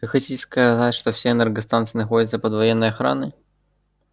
вы хотите сказать что все энергостанции находятся под военной охраной